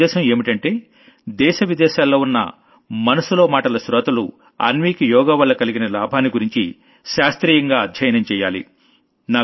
నా ఉద్దేశం ఏంటంటే దేశ విదేశాల్లో ఉన్న మనసులో మాటల శ్రోతలు అన్వీకి యోగా వల్ల కలిగిన లాభాన్ని గురించి శాస్త్రీయంగా అధ్యయనం చెయ్యాలి